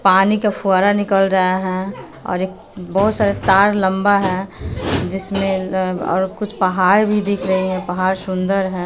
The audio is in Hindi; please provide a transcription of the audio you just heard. पानी का फुव्वारा निकाल रहा है और एक बहुत सारा तार लंबा है जिसमें अह और कुछ पहाड़ भी दिख रही हैं पहाड़ सुंदर है।